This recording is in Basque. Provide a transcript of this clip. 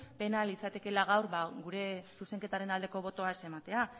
pena litzatekeela gaur gure zuzenketaren aldeko botoa ez ematea